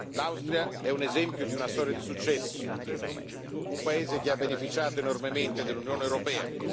L'Austria è un esempio di una storia di successo, un paese che ha beneficiato enormemente dell'Unione europea.